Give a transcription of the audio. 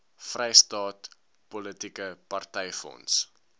vrystaat politieke partyfonds